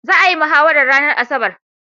Za'a yi mahawarar ranar asabar.